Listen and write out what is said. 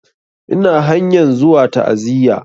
Ina hanyan zuwa ta'aziya